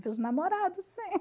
os namorados, sim.